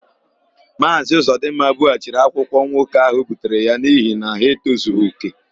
Maazị Ụzọdịmma bughachiri akwụkwọ nwoke ahụ butere ya n'ihi na ha etozughị òkè.